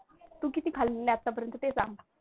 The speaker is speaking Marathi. तू किती खाल्ली आतापर्यंत ते सांग?